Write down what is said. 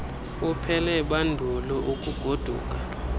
uphele bandulu ukugoduka